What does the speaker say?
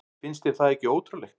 Finnst þér það ekki ótrúlegt?